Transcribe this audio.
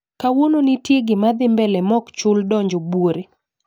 Kawuono ntie ggimadhii mbele mokchul donjo buore?